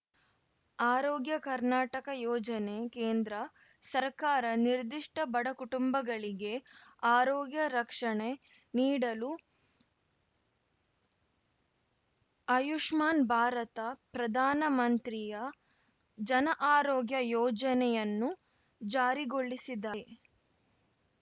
ಆರೋಗ್ಯ ಕರ್ನಾಟಕ ಯೋಜನೆ ಕೇಂದ್ರ ಸರ್ಕಾರ ನಿರ್ದಿಷ್ಟಬಡಕುಟುಂಬಗಳಿಗೆ ಆರೋಗ್ಯ ರಕ್ಷಣೆ ನೀಡಲು ಆಯುಷ್ಮಾನ್‌ ಭಾರತ ಪ್ರಧಾನಮಂತ್ರಿಯ ಜನ ಆರೋಗ್ಯ ಯೋಜನೆಯನ್ನು ಜಾರಿಗೊಳಿಸಿದೆ